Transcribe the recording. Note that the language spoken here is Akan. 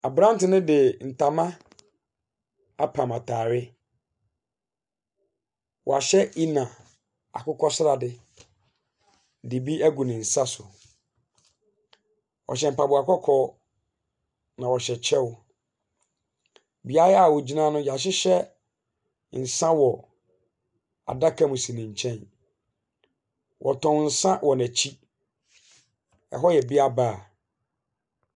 Aberanteɛ no de ntoma apam atare. Wahyɛ inner akokɔsrade de bi agu ne nsa so. Ɔhyɛ mpaboa kɔkɔɔ, na ɔhyɛ kyɛw. Beaeɛ a wɔgyina no, wɔahyehyɛ nsa wɔ adaka mu si ne nkyɛn. Wɔtɔn nsa wɔ n'akyi. Hɔ yɛ bear bar.